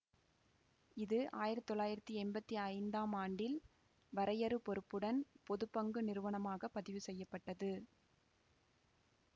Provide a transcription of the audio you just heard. இது ஆயிரத்தி தொள்ளாயிரத்தி எம்பத்தி ஐந்தாம் ஆண்டில் வரையறு பொறுப்புடன் பொது பங்கு நிறுவனமாக பதிவு செய்ய பட்டது